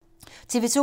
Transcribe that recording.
TV 2